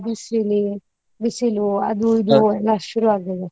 ಬಿಸಿಲಿ ಬಿಸಿಲು ಅದು ಎಲ್ಲಾ ಶುರು ಆಗ್ಲಿಲ್ವಾ?